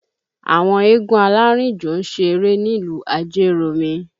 Àwọn eégún alárìnjò ń ṣeré nílùú Ajeromi